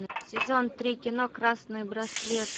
сезон три кино красный браслет